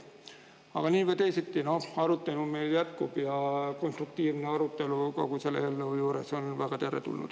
Aga nii või teisiti, arutelu meil jätkub ja konstruktiivne arutelu kogu selle eelnõu juures on väga teretulnud.